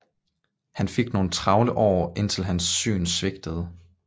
Han fik nogle travle år indtil hans syn svigtede